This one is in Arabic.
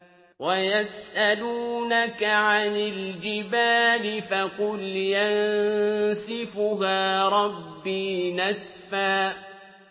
وَيَسْأَلُونَكَ عَنِ الْجِبَالِ فَقُلْ يَنسِفُهَا رَبِّي نَسْفًا